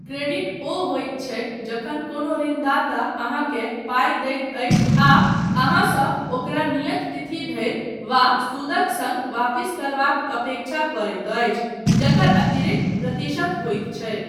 Credit ओ होइत छै जखन कोनो ऋणदाता अहाँकेंँ पाइ दैत अछि आ अहाँसँ ओकरा नियत तिथि धरि वा सूदक सङ्ग वापिस करबाक अपेक्षा करैत अछि, जकर अतिरिक्त प्रतिशत होइत छै।